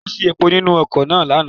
Kò sí epo nínú ọkọ̀ náà ní àná.